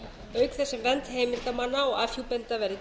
auk þess sem vernd heimildarmanna og afhjúpenda verði